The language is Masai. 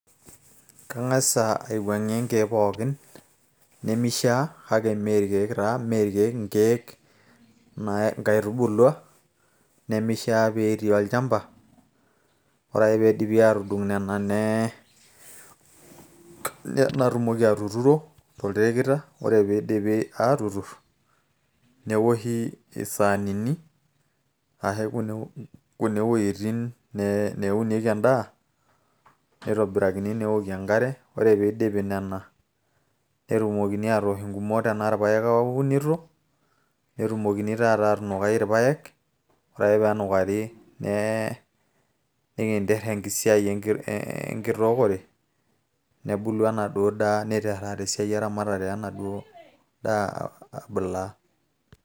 kang'asa aiwuang'ie inkeek pookin nemishaa kake mee irkeek taa inkeek inkaitubulua nemishaa petii olchamba ore ake piidipi atudung nena naa natumoki atuturo tolterekita ore piidipi aatuturr neoshi isaanini ashu kune wuejitin neewunieki endaa nitobirakini ineewokie enkare ore piidipi nena netumokini aatosh ingumot tenaa irpayek aunito netumokini taata aatunukai irpayek ore ake peenukari ninkinterr enkisiai enkitookore nebulu enaduo daa niterr taata esiai eramatare enaduo daa abulaa.